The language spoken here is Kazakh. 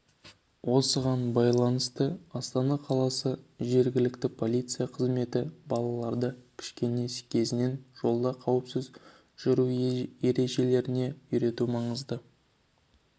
осыған байланысты астана қаласы жергілікті полиция қызметі балаларды кішкене кезінен жолда қауіпсіз жүру ережелеріне үйрету маңызды